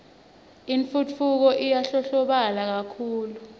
intfutfuko iyandlondlobala kakhulu